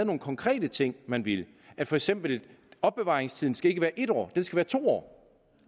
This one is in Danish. nogle konkrete ting man ville for eksempel at opbevaringstiden ikke skal være en år men to år